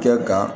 Kɛ ka